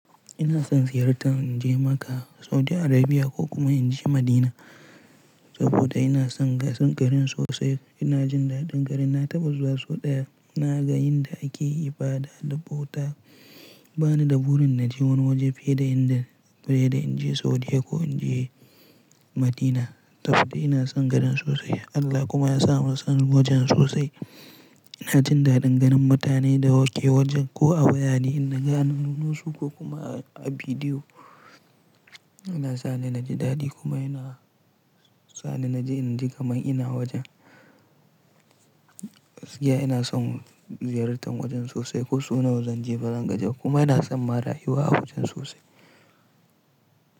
Ina son ziyartar in je Makkah, Saudi Arabia ko kuma in je Madina saboda ina son garin sosai. Ina jin daɗin garin, na taɓa zuwa sau ɗaya. Na ga yanda ake ibada da bauta. Ba ni da burin na je wani waje fiye da in je Saudiya ko in je Madina saboda ina son garin sosai. Allah kuma ya sa mun son wajen sosai. Ina jin daɗin ganin mutane da ke wajen ko a wayane in na gani, nunosu ko kuma a bidiyo. Yana sa ni na ji daɗi kuma yana sa ni na ji in ji kamar ina wajen. Gaskiya ina son ziyartar wajen sosai ko suna wajen je bazan gaji ba kuma ina son ma rayuwa a wajen sosai.